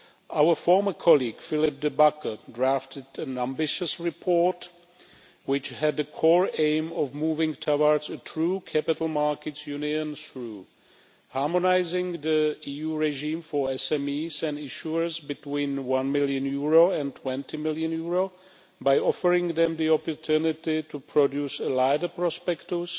Our former colleague, Philippe De Backer, drafted an ambitious report which had the core aim of moving towards a true capital markets union through harmonising the EU regime for SMEs and issuers between EUR 1 million and EUR 20 million by offering them the opportunity to produce a lighter prospectus